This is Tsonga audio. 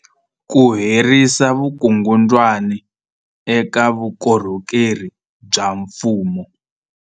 Ku herisa vukungundwani eka vukorhokeri bya mfumo.